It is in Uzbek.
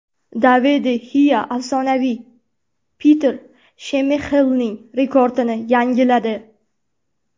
David de Xea afsonaviy Petr Shmeyxelning rekordini yangiladi.